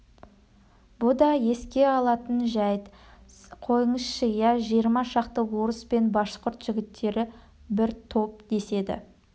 бұ да еске алатын жәйт қойыңызшы иә жиырма шақты орыс пен башқұрт жігіттері бір топ деседі